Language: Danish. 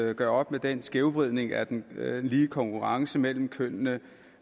at gøre op med den skævvridning af den lige konkurrence mellem kønnene